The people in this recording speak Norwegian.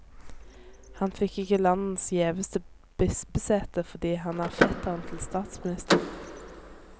Han fikk ikke landets gjeveste bispesete fordi han er fetteren til statsministeren.